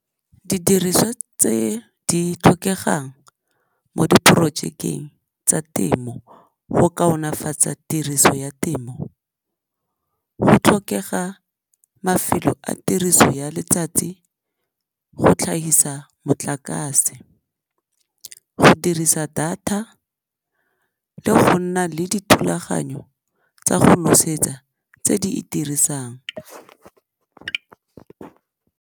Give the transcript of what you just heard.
Didiriswa tse di tlhokegang mo diporojekeng tsa temo go kaonafatsa tiriso ya temo, go tlhokega mafelo a tiriso ya letsatsi go tlhagisa motlakase, go dirisa data le go nna le dithulaganyo tsa go nosetsa tse di itirisang.